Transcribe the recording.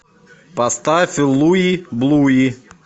поставь луи блуи